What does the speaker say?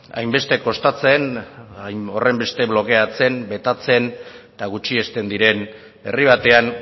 hainbeste kostatzen horrenbeste blokeatzen betatzen eta gutxiesten diren herri batean